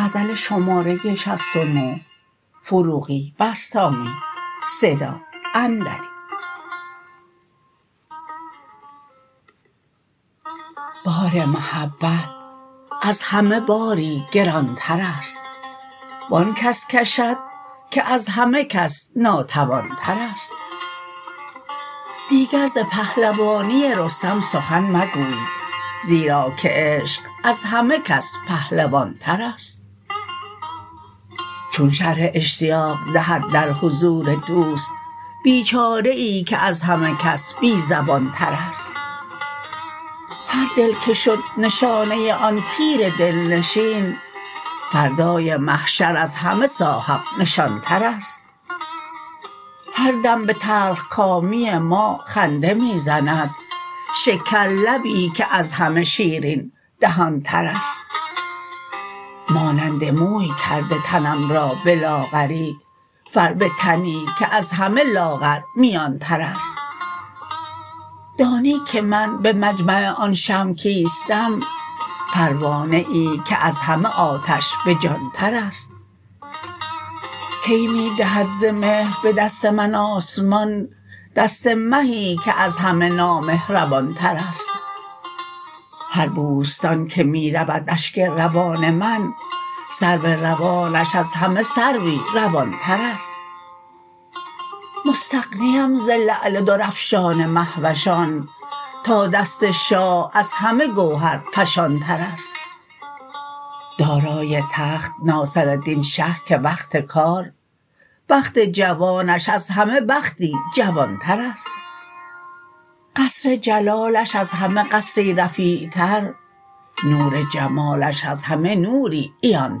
بار محبت از همه باری گران تر است و آن کس کشد که از همه کس ناتوان تر است دیگر ز پهلوانی رستم سخن مگوی زیرا که عشق از همه کس پهلوان تر است چون شرح اشتیاق دهد در حضور دوست بیچاره ای که از همه کس بی زبان تر است هر دل که شد نشانه آن تیر دل نشین فردای محشر از همه صاحب نشان تر است هر دم به تلخ کامی ما خنده می زند شکر لبی که از همه شیرین دهان تر است مانند موی کرده تنم را به لاغری فربه تنی که از همه لاغر میان تر است دانی که من به مجمع آن شمع کیستم پروانه ای که از همه آتش به جان تر است کی می دهد ز مهر به دست من آسمان دست مهی که از همه نامهربان تر است هر بوستان که می رود اشک روان من سرو روانش از همه سروی روان تر است مستغنی ام ز لعل درافشان مهوشان تا دست شاه از همه گوهر فشان تر است دارای تخت ناصردین شه که وقت کار بخت جوانش از همه بختی جوان تر است قصر جلالش از همه قصری رفیع تر نور جمالش از همه نوری عیان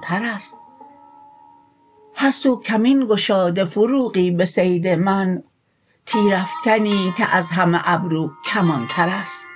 تر است هر سو کمین گشاده فروغی به صید من تیرافکنی که از همه ابرو کمان تر است